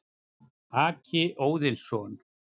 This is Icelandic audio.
Haki Óðinsson,